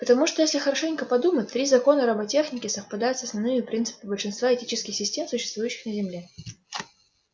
потому что если хорошенько подумать три закона роботехники совпадают с основными принципами большинства этических систем существующих на земле